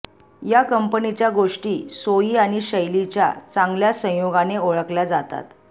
या कंपनीच्या गोष्टी सोई आणि शैलीच्या चांगल्या संयोगाने ओळखल्या जातात